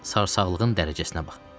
Sarsaxlığın dərəcəsinə bax.